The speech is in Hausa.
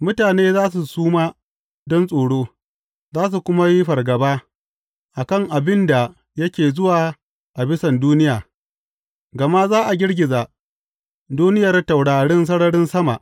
Mutane za su suma don tsoro, za su kuma yi fargaba, a kan abin da yake zuwa a bisan duniya, gama za a girgiza duniyar taurarin sararin sama.